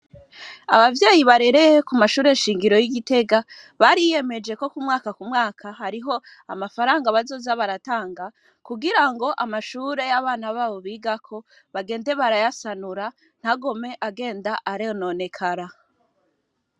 Abavyeyi barereye k'umashure shingiro y'Igitega, bariyemeje ko kumwaka kumwaka hariho mafaranga bazoza baratanga, kugirango mashure y'abana babo bigako, bagende barayasanura ,ntagume agenda arononekara.